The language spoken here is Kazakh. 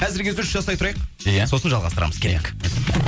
әзірге үзіліс жасай тұрайық ия сосын жалғастырамыз